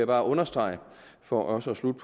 bare understrege for også at slutte